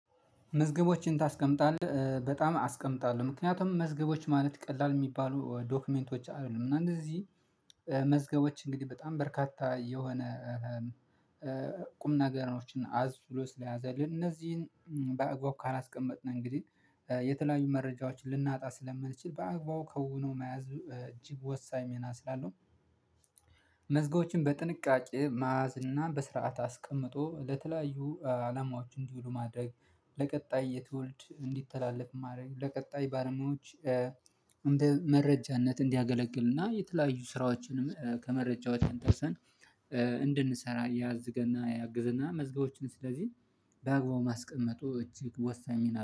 መዝገቦችን ታስቀምጣለህ በጣም አስቀምጣለሁ ምክንያቱም መዝገቦች ማለት ቀላል የሚባሉ ዶክመንቶች አይደሉም እና እነዚህ መዝገቦች እንግዲህ በጣም በርካታ የሆነ ቁም ነገሮችን አዝ ብሎ ስለያዘልን እነዚህን በአግባቡ ካላስቀመጥን እንግዲህ የተለያዩ መረጃዎችን ልናጣ ስለምንችል በአግባቡ ከውነው መያዝ እጅግ ወሳኝ ሚና ስላለው። መዝጋዎችን በጥንቃቄ መያዝ እና በስርዓት አስቀምጦ ለተለያዩ አላማዎች እንዲውሉ ማድረግ ለቀጣይ የተወልድ እንዲተላለፍ ማድረግ ለቀጣይ ባለሙያዎች እንደ መረጃነት እንዲያገለግልና የተለያዩ ስራዎችንም ከመረጃው ተንጠርሰን እንድንሰራ ያዝገና ያግዝና መዝገቦችን ስለዚህ በአግባቡ ማስቀመጡ እጅግ ወሳኝ ሚና